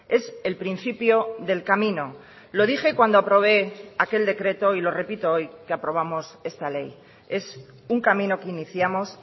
es el principio del camino lo dije cuando aprobé aquel decreto y lo repito hoy que aprobamos esta ley es un camino que iniciamos